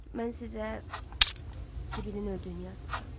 Mən sizə Sibilin öldüyünü yazmışam.